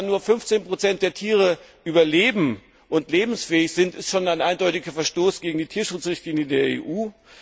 Dass nur 15 der Tiere überleben und lebensfähig sind, ist schon ein eindeutiger Verstoß gegen die Tierschutzrichtlinie der